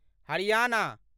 Haryana